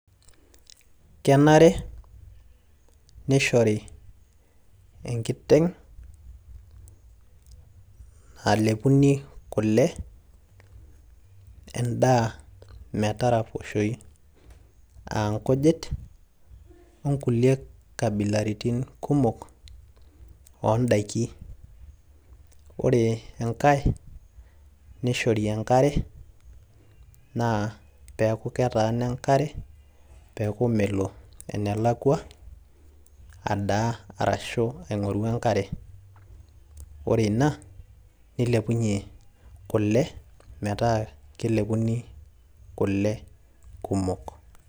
kenare nishori enkiteng' nalepuni kule, edaa mtaraposhoi, aa nkujit, o nkulie kabilaritin kumok oodaikin. ore enkae nishori enkare naa pee eeku ketaana enkare peeku melo enalakua aing'oru ankare ashu adaa ,ore teina neeku kelepuni kule kumok.